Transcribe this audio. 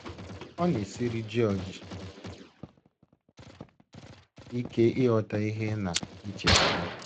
Ọ na - esiri George ike ịghọta ihe na icheta ha.